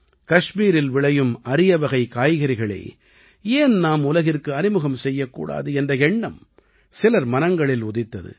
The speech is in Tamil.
கஷ்மீரில் விளையும் அரியவகைக் காய்கறிகளை ஏன் நாம் உலகிற்கு அறிமுகம் செய்யக்கூடாது என்ற எண்ணம் சிலர் மனங்களில் உதித்தது